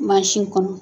Mansin kɔnɔ